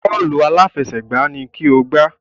Bọ́ọ̀lù aláfẹsẹ̀gbá ni kí o gbá!